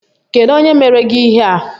Kedu onye mere gị ihe a?